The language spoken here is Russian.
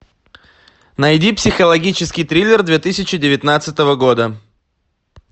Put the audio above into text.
найди психологический триллер две тысячи девятнадцатого года